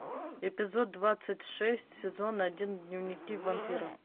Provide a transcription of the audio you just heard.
эпизод двадцать шесть сезон один дневники вампира